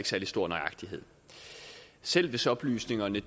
særlig stor nøjagtighed selv hvis oplysningerne